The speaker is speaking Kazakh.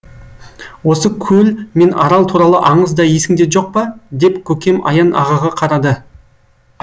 осы көл мен арал туралы аңыз да есіңде жоқ па деп көкем аян ағаға қарады